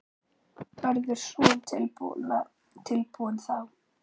Verður Son tilbúinn þá?